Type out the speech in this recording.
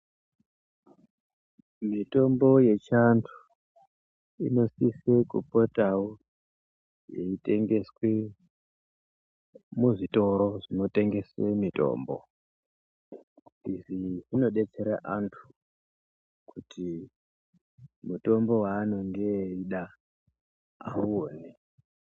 Mitombo yechiantu inosise kupotavo yeitengeswe muzvitoro zvinotengese mitombo. Izvi zvinobetsera antu kuti mutombo vaanonge eida auone.